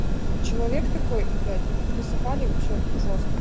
человек такой блять мы тут высыхали вообще жёстко